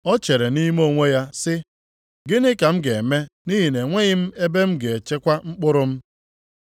O chere nʼime onwe ya sị, ‘Gịnị ka m ga-eme nʼihi na enweghị m ebe m ga-echekwa mkpụrụ m?’